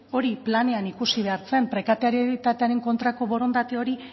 hori planean ikusi behar zen prekarietatearen kontrako borondate hori